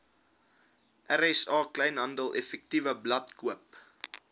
rsa kleinhandeleffektewebblad koop